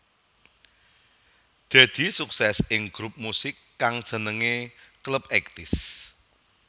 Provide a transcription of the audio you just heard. Deddy sukses ing grup musik kang jenengé Clubeighties